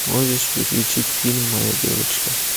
можешь включить фильм моя девочка